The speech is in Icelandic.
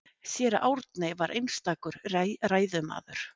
Séra Árni var einstakur ræðumaður.